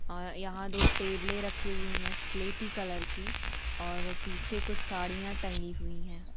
और यह पे दो टेबले रखी हुई है स्लेटी कलर की और पीछे कुछ साड़िया तंगी हुई है।